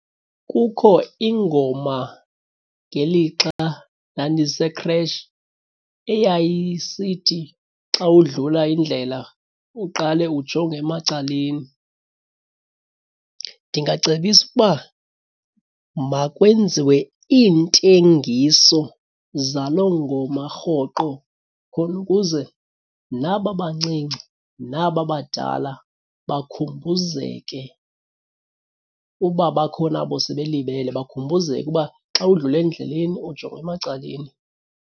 Kukho ingoma ngelixa ndandise-creche eyayisithi xa udlula indlela uqale ujonge emacaleni. Ndingacebisa uba makwenziwe iintengiso zalo ngoma rhoqo khona ukuze naba bancinci, naba badala bakhumbuzeke uba bakhona abo sebelibele bakhumbuzeke uba xa udlula endleleni ujonga emacaleni.